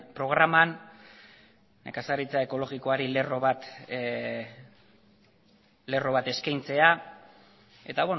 programan nekazaritza ekologikoari lerro bat eskaintzea eta